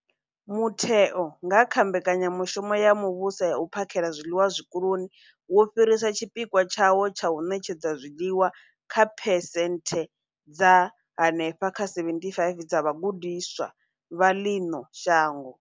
Mutheo, nga kha Mbekanya mushumo ya Muvhuso ya U phakhela zwiḽiwa Zwikoloni, wo fhirisa tshipikwa tshawo tsha u ṋetshedza zwiḽiwa kha phesenthe dza henefha kha 75 dza vhagudiswa vha ḽino shango.